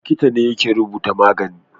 Likita ne yake rubuta magani